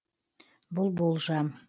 бұл болжам